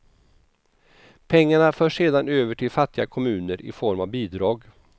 Pengarna förs sedan över till fattiga kommuner i form av bidrag.